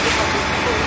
Quraşdırılmışdır.